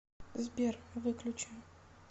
сбер выключи